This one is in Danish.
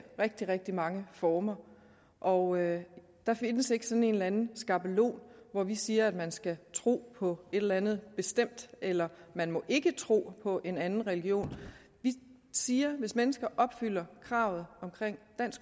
rigtig rigtig mange former og der findes ikke sådan en eller anden skabelon hvor vi siger at man skal tro på et eller andet bestemt eller at man ikke må tro på en anden religion vi siger at hvis mennesker opfylder kravet